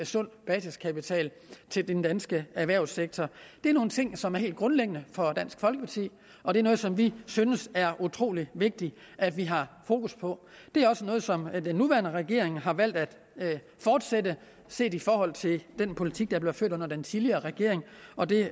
sund basiskapital til den danske erhvervssektor det er nogle ting som er helt grundlæggende for dansk folkeparti og det er noget som vi synes det er utrolig vigtigt at vi har fokus på det er også noget som den nuværende regering har valgt at fortsætte set i forhold til den politik der blev ført under den tidligere regering og det